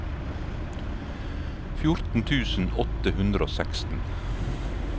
fjorten tusen åtte hundre og seksten